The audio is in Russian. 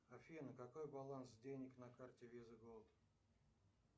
афина какой баланс денег на карте виза голд